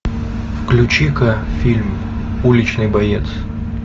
включи ка фильм уличный боец